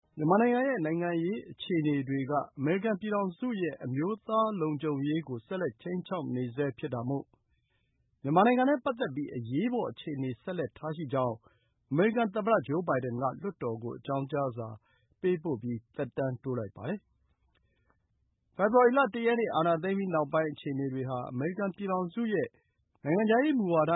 မြန်မာနိုင်ငံရဲ့ နိုင်ငံရေးအခြေအနေဟာ အမေရိကန် ပြည်ထောင်စုရဲ့ အမျိုးသားလုံခြုံရေးကို ခြိမ်းခြောက်နေတဲ့အတွက် မြန်မာနိုင်ငံနဲ့ပတ်သက်ပြီး အရေးပေါ်အရေးခြေအနေ ဆက်လက် ထားရှိတဲ့အကြောင်း အမေရိကန်သမ္မတ Joe Biden က ကွန်ဂရက်စ်လွှတ်တော်ကို မနေ့က အကြောင်းကြားစာ ပေးပို့ပါတယ်။ ပြီးခဲ့တဲ့နှစ် ဖေဖော်ဝါရီလမှာ စစ်တပ်က အာဏာသိမ်းပြီးနောက်ပိုင်း အခြေအနေတွေဟာ အမေရိကန် အမျိုးသားလုံခြုံရေးနဲ့ နိုင်ငံခြားရေးမူဝါဒ